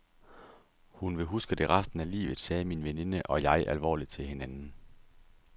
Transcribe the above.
Hun vil huske det resten af livet, sagde min veninde og jeg alvorligt til hinanden.